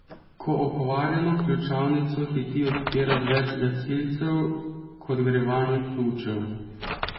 Ko okvarjeno ključavnico hiti odpirat več gasilcev, kot gre vanjo ključev.